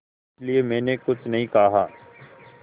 इसलिए मैंने कुछ नहीं कहा